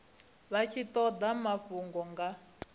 vha tshi toda mafhungo nga